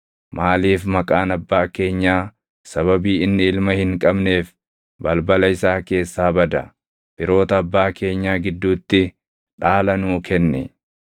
Maaliif maqaan abbaa keenyaa sababii inni ilma hin qabneef balbala isaa keessaa bada? Firoota abbaa keenyaa gidduutti dhaala nuu kenni.”